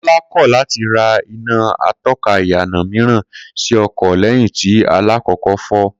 Kó̩lá kò̩ láti ra iná ató̩ka ìyànà mìíràn sí o̩kò̩ lé̩yìn tí alákò̩ó̩kó̩ fó̩